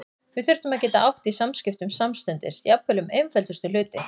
Við þurftum að geta átt í samskiptum samstundis, jafnvel um einföldustu hluti.